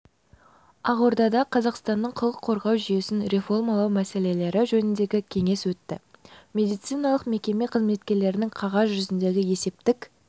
ақордада қазақстанның құқық қорғау жүйесін реформалау мәселелері жөніндегі кеңес өтті медициналық мекеме қызметкерлерінің қағаз жүзіндегі есептік